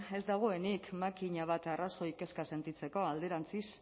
ez dagoenik makina bat arrazoi kezka sentitzeko alderantzi